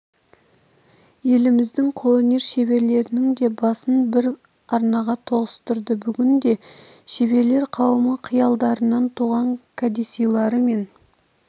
еліміздің қолөнер шеберлерінің де басын бір арнаға тоғыстырды бүгінде шеберлер қауымы қиялдарынан туған кәдесыйлары мен